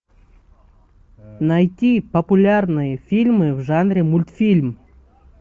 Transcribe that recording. найти популярные фильмы в жанре мультфильм